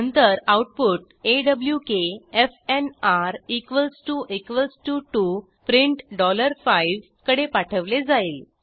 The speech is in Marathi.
नंतर आऊटपुट ऑक फॅनआर 2 print 5 कडे पाठवले जाईल